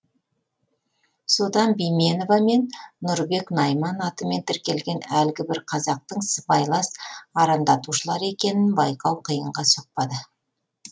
содан бименова мен нұрбек найман атымен тіркелген әлгі бір қазақтың сыбайлас арандатушылар екенін байқау қиынға соқпады